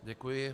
Děkuji.